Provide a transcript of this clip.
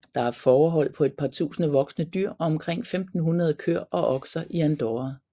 Der er fårehold på et par tusinde voksne dyr og omkring 1500 køer og okser i Andorra